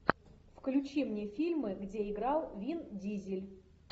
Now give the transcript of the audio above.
включи мне фильмы где играл вин дизель